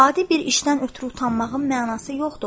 Adi bir işdən ötrü utanmağım mənası yoxdur.